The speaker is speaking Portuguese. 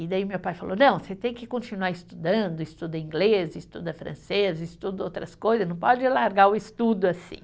E daí meu pai falou, não, você tem que continuar estudando, estuda inglês, estuda francês, estuda outras coisas, não pode largar o estudo assim.